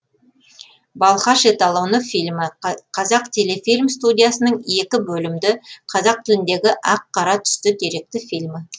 балқаш эталоны фильмі қазақтелефильм студиясының екі бөлімді қазақ тіліндегі ақ қара түсті деректі фильмі